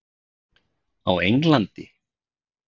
Á Englandi?